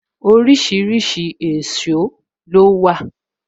Orísìírísìí èsó ló wà